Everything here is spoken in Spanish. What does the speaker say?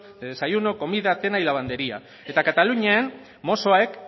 de desayuno comida cena y lavandería eta katalunian mossoek